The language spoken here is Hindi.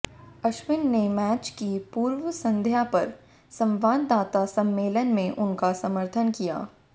अश्विन ने मैच की पूर्व संध्या पर संवाददाता सम्मेलन में उनका समर्थन किया